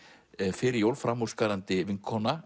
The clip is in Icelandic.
fyrir jól framúrskarandi vinkona